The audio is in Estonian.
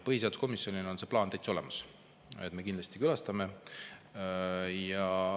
Põhiseaduskomisjonil on see plaan täitsa olemas, me kindlasti külastame.